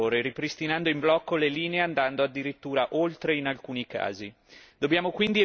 Dobbiamo quindi evitare di finire in un braccio di ferro estenuante e controproducente per tutti.